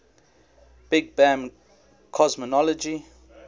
big bang cosmology